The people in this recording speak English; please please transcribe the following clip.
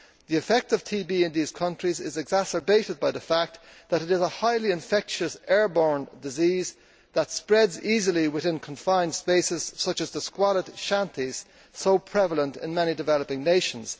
The effect of TB in these countries is exacerbated by the fact that it is a highly infectious airborne disease that spreads easily within confined spaces such as the squalid shanty towns so prevalent in many developing nations.